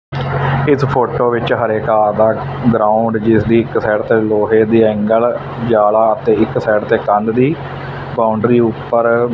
ਏਸ ਫ਼ੋਟੋ ਵਿੱਚ ਹਰੇ ਘਾਹ ਦਾ ਗਰਾਊਂਡ ਜਿਸਦੀ ਇੱਕ ਸਾਈਡ ਤੇ ਲੋਹੇ ਦੇ ਏਂਗੱਲ ਜਾਲਾ ਅਤੇ ਇੱਕ ਸਾਈਡ ਤੇ ਕੰਧ ਦੀ ਬਾਊਂਡਰੀ ਊਪਰ--